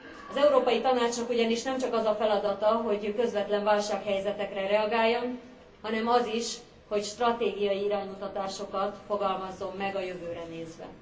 Az Európai Tanácsnak ugyanis nemcsak az a feladata, hogy közvetlen válsághelyzetekre reagáljon, hanem az is, hogy stratégiai iránymutatásokat fogalmazzon meg a jövőre nézve.